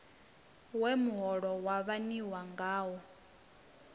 we muholo wa waniwa ngawo